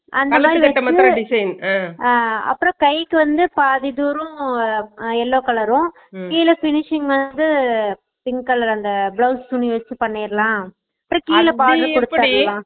design ஹா அஹ அப்பறம் கைக்கு வந்து பாதி தூரம் yellow colour உம், கீழ finishing வந்து pink colour அந்த blouse துணிய வெச்சு பண்ணிருலாம்